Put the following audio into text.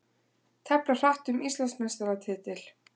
Tefla hratt um Íslandsmeistaratitil